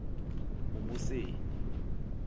umuseni